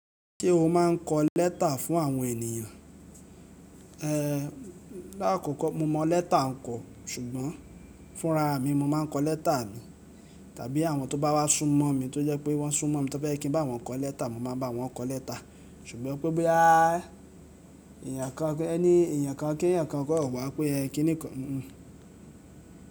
Ṣé o máa ń kọ lẹ́tà fún àwọn ènìyàn? Lakọkọ mo mọ leta kọ sugbọn fúnra mi mo máa ń kọ lẹ́tà mi. Tàbí àwọn tó bá wá súnmọ́ mi tó jẹ́ pé wọ́n súnmọ́ mi tó fẹ́ je kí ń bá wọn kọ lẹ́tà, mo máa bá wọn kọ lẹ́tà. Ṣùgbọ́n pé boya ènìyàn kan kí ènìyàn kan kó o wà pé ẹ kíni kọ́